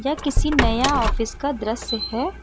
किसी नया ऑफिस का दृश्य है।